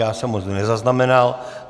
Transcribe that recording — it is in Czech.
Já jsem ho nezaznamenal.